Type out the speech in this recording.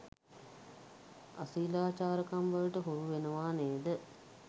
අශීලාචාරකම්වලට හුරු වෙනවා නේද?